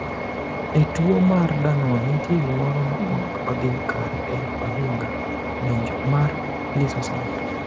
E tuo mar Danon nitie gimoro ma ok odhi kare e ohinga (ng’injo) mar lisosom.